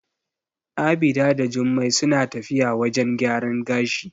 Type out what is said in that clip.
Abida da Jummai suna tafiya wajen gyaran gashi.